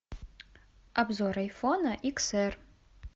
обзор айфона икс р